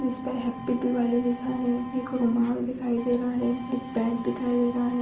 Nice इस पे happy Diwali लिखा है। एक रुमाल दिखाई दे रहा है। एक बेग दिखाई दे रहा है।